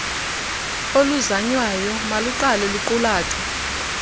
oluzanywayo maluqale luqulathwe